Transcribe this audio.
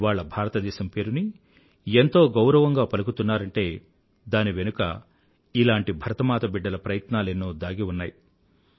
ఇవాళ భారతదేశం పేరుని ఎంతో గౌరవంగా పలుకుతున్నారంటే దాని వెనుక ఇలాంటి భరతమాత బిడ్డల ప్రయత్నాలెన్నో దాగి ఉన్నాయి